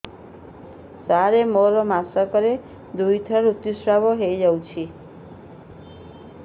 ସାର ମୋର ମାସକରେ ଦୁଇଥର ଋତୁସ୍ରାବ ହୋଇଯାଉଛି